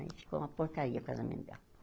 Aí ficou uma porcaria o casamento dela.